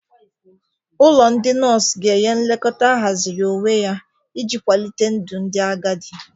Ụlọ ndị nọọsụ ga-enye nlekọta ahaziri onwe ya iji kwalite ndụ ndị agadi